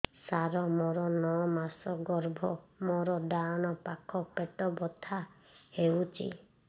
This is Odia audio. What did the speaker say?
ସାର ମୋର ନଅ ମାସ ଗର୍ଭ ମୋର ଡାହାଣ ପାଖ ପେଟ ବଥା ହେଉଛି